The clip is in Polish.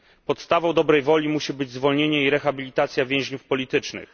Podstawą dobrej woli musi być zwolnienie i rehabilitacja więźniów politycznych.